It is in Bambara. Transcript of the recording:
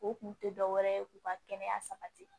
O kun tɛ dɔwɛrɛ ye k'u ka kɛnɛya sabati